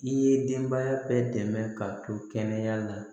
I ye denbaya bɛɛ dɛmɛ ka to kɛnɛya la